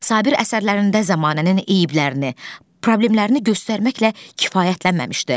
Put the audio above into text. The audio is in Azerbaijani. Sabir əsərlərində zəmanənin eyiblərini, problemlərini göstərməklə kifayətlənməmişdi.